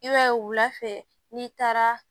I b'a ye wula fɛ n'i taara